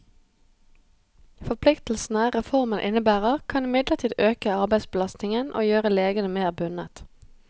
Forpliktelsene reformen innebærer, kan imidlertid øke arbeidsbelastningen og gjøre legene mer bundet.